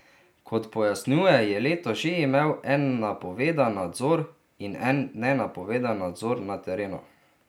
Kot pojasnjuje, je letos že imel en napovedan nadzor in en nenapovedan nadzor na terenu.